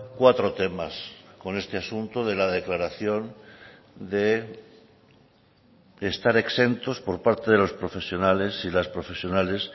cuatro temas con este asunto de la declaración de estar exentos por parte de los profesionales y las profesionales